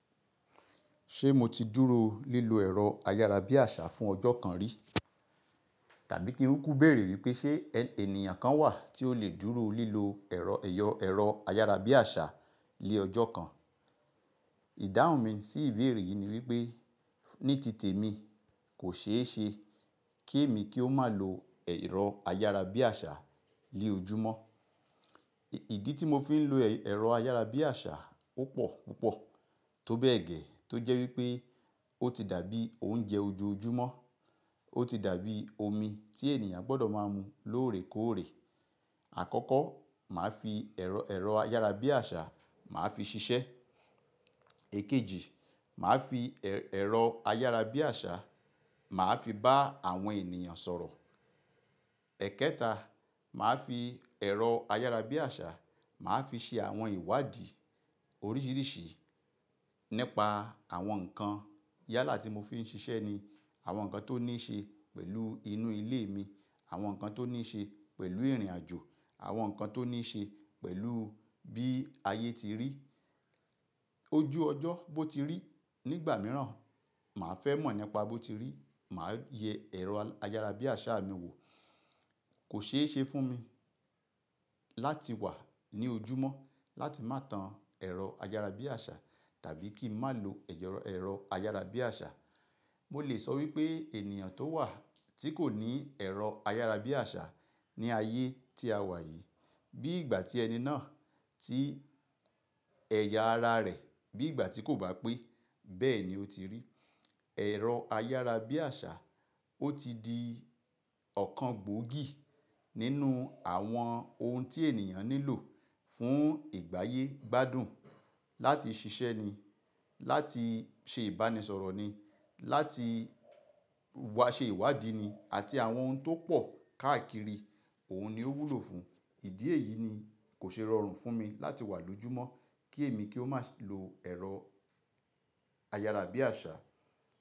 Se mo ti dúró lílo ẹ̀rọ ayárabíàṣà fún ọjọ́ kan rí? Tàbí kí n kúku béèrè wípé ṣe ènìyàn kan wà tí ó lè dúró lílo ẹ̀rọ ayárabíàṣà lé ọjọ́ kan? Ìdáhùn mi sí ìbéèrè yìí ni wípé ní tìtẹ̀ mi kò ṣe é ṣe kí èmi kí ó má lo ẹ̀rọ ayárabíàṣà ni ojúmọ́. Ìdí tí mo fi ń lo ẹ̀rọ ayárabíàṣà ó pọ̀ púpọ̀ tó bẹ́ẹ̀ gẹ́ tó jẹ́ wípé ó ti dàbí oúnjẹ ojoojúmọ́, ó ti dàbí omi tí ènìyàn gbọ́dọ̀ má ń mu lóòrèkóòrè. Àkọ́kọ́, màá fi ẹ̀rọ ayárabíàṣà mà fi ṣiṣẹ́. Èkejì, màá fi ẹ̀rọ ayárabíàṣà màá fi bá àwọn ènìyàn sọ̀rọ̀. Ẹ̀kẹta, màá fi ẹ̀rọ ayárabíàṣà màá fi ṣe àwọn ìwádí oríṣíríṣì nípa àwọn nǹkan yálà tí mo fi ń ṣiṣẹ́ ni, àwọn nǹkan tó ní ṣe pẹ̀lú inú ilé mi, àwọn nǹkan tó ní ṣe pẹ̀lú ìrìnàjò, àwọn nǹkan tó ní ṣe pẹ̀lú bí ayé ti rí, ojú ọjọ́ bó ti rí nígbà mìíràn, màá fẹ́ mọ̀ nípa bó ti rí, màá yẹ ẹ̀rọ ayárabíàṣà mi wò. Kò ṣeéṣe fún mi láti wà ní ojúmọ́ láti má tan ẹ̀rọ ayárabíàṣà tàbí kí n má lo ẹ̀rọ ayárabíàṣà. Mo lè sọ wípé ènìyàn tó wà tí kò ní ẹ̀rọ ayárabíàṣà ní ayé tí a wà yìí, bí ìgbà tí ẹni náà ti ẹ̀yà ara rẹ̀ bí ìgbà tí kò bá pé bẹ́ẹ̀ ni ó ti rí. Ẹ̀rọ ayárabíàṣà ó ti di ọ̀kan gbòógì nínú àwọn ohun tí ènìyàn nílò fún ìgbáyé gbádùn, láti ṣiṣẹ́ ni, láti ṣe ìbánisọ̀rọ̀ ni, láti wá ṣe ìwádí ni àti àwọn ohun tó pọ̀ káàkiri òun ni ó wúlò fún. Ìdí èyí ni kò ṣe rọrùn fún mi láti wà lójúmọ́ kí èmi kí ó má lo ẹ̀rọ ayárabíàṣà.